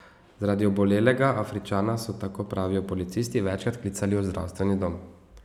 Zaradi obolelega Afričana so, tako pravijo policisti, večkrat klicali v zdravstveni dom.